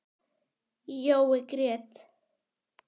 Jói grét.